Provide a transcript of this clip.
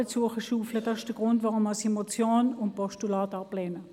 Das ist der Grund, weshalb ich Motion und Postulat ablehne.